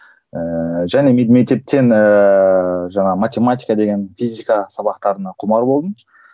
ііі және мен мектептен ііі жаңағы математика деген физика сабақтарына құмар болдым